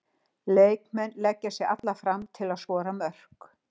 Leikmenn leggja sig alla fram til að skora mörk.